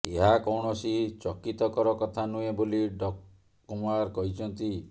ଏହା କୌଣସି ଚକିତକର କଥା ନୁହେଁ ବୋଲି ଡ କୁମାର କହିଛନ୍ତି